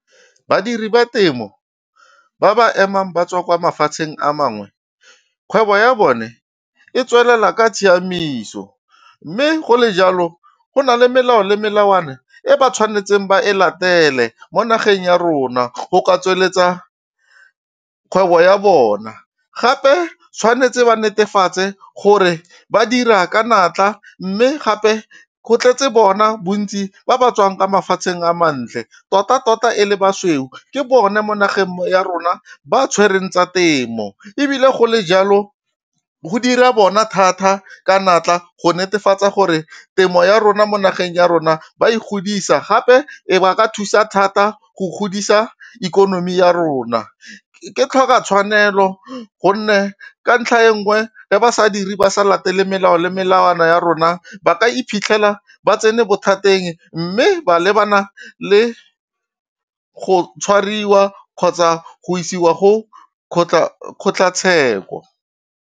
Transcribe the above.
Badiri ba temo ba ba emang ba tswa kwa mafatsheng a mangwe, kgwebo ya bone e tswelela ka tshiamiso. Mme go le jalo go na le melao le melawana e ba tshwanetseng ba e latele mo nageng ya rona, go ka tsweletsa kgwebo ya bona. Gape tshwanetse ba netefatse gore ba dira ka natla, mme gape go tletse bona bontsi ba ba tswang kwa mafatsheng a mantle. Tota-tota e le basweu ke bone mo nageng ya rona ba tshwereng tsa temo, ebile go le jalo go dira bona thata ka natla go netefatsa gore temo ya rona mo nageng ya rona ba e godisa. Gape ee ba ka thusa thata go godisa ikonomi ya rona. Ke tlhoka tshwanelo gonne ka ntlha e nngwe ga ba sa diri, ba sa latele melao le melawana ya rona ba ka iphitlhela ba tsene bothateng, mme ba lebana le go tshwariwa kgotsa go isiwa go kgotlhatsheko.